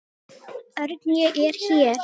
Örn, ég er hér